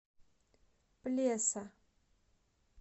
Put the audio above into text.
плеса